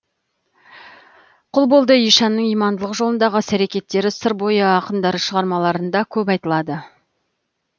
құлболды ишанның имандылық жолындағы іс әрекеттері сыр бойы ақындары шығармаларында көп айтылады